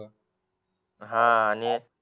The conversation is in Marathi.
हा आणि